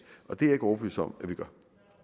og det er jeg ikke overbevist om at vi gør